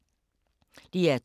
DR2